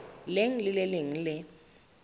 leng le le leng le